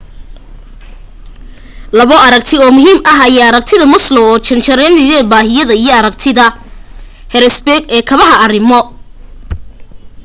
labo aragti oo muhiim ah ayaa aragtida maslow oo jaranjarada baahiyada iyo aragtida hertzberg ee kabada arrimo